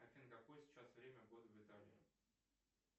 афина какое сейчас время года в италии